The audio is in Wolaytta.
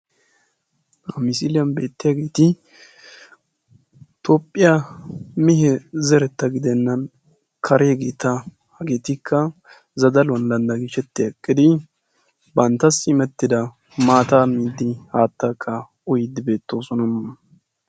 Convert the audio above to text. Hagan beetiyagetti toophiyagetta gidokkonna karegeetta ettikka zadaluwan qashshettiddi beetosonna.